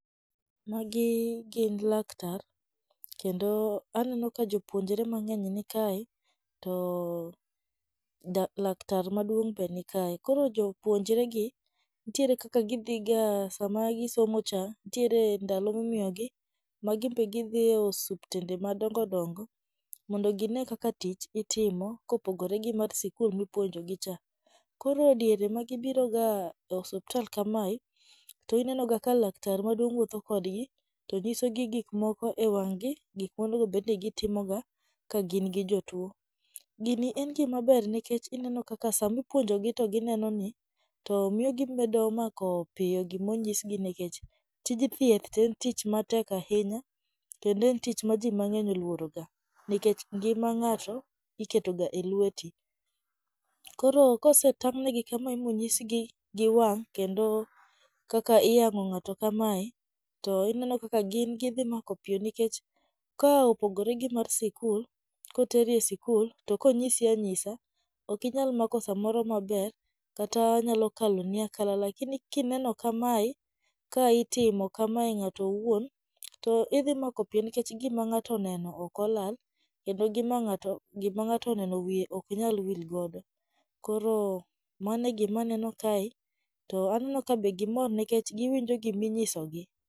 Magi gin laktar, kendo aneno ka jopuonjre mang'eny nikae, to dak laktar maduong' be nikae. Koro jopuonjre gi nitiere kaka gidhiga sama gisomo cha nitiere ndalo ma imiyo gi ma gin be gidhi e osuptende madongo dongo mondo gine kaka tich itimo kopogore gi mar sikul mipuonjo gi cha. Koro diere ma gibiro ga e osuptal kamae, to ineno ga ka laktar maduong' wuotho kodgi to nyisogi gik moko e wang'gi, gik monego obed ni gitimoga ka gin gi jatuo. Gini en gima maber nikech ineno kaka sama ipuonjo gi to gineno ni to miyo gimedo mako piyo gima onyisgi nikech tij thieth to en tich matek ahinya, kendo en tich ma ji mang'eny oluoro ga nikech ngima ng'ato, iketoga e lweti. Koro kosetang' negi kama ma onyisgi gi wang' kendo kaka iyang'o ng'ato kamae, to ineno kaka gin gidhi mako piyo nikech, ka opogore gi mar sikul ka oteri e sikul to konyisi anyisa, ok inyal mako samoro maber kata nyalo kaloni akal lakini kineno kamae, ka itimo kamae ng'ato owuon, to idhi mako piyo nikech gima ng'ato oneno ok olal, kendo gima ng'ato ng'ato oneno wiye ok nyal wilgodo. Koro mano e gima aneno kae, to aneno ka be gimor nikech giwinjo gima inyisogi.